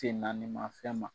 Te naanima fɛn ma